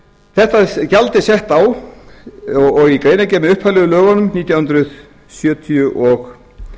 þetta gjald er sett á og í greinargerð með upphaflegu lögunum nítján hundruð sjötíu og